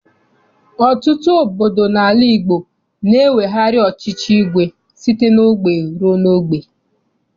Ọtụtụ obodo n'ala Igbo na-ewegharị ọchịchị igwe site n'ogbe rue n'ogbe.